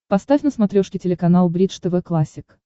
поставь на смотрешке телеканал бридж тв классик